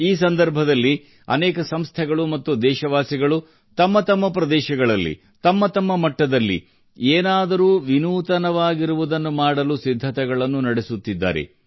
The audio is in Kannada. ಈ ಸಂದರ್ಭದಲ್ಲಿ ಅನೇಕ ಸಂಸ್ಥೆಗಳು ಮತ್ತು ದೇಶವಾಸಿಗಳು ತಮ್ಮ ತಮ್ಮ ಪ್ರದೇಶಗಳಲ್ಲಿ ತಮ್ಮ ತಮ್ಮ ಮಟ್ಟದಲ್ಲಿ ಏನಾದರೂ ವಿನೂತನವಾಗಿರುವುದನ್ನು ಮಾಡಲು ಸಿದ್ಧತೆಗಳನ್ನು ನಡೆಸುತ್ತಿದ್ದಾರೆ